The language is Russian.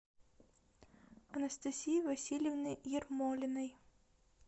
анастасии васильевны ермолиной